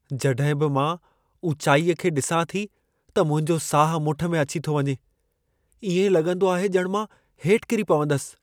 जॾहिं बि मां ऊचाईअ खे डि॒सां थी त मुंहिंजो साहु मुठि में अची थो वञे। इएं लॻंदो आहे ॼणु मां हेठ किरी पवंदसि।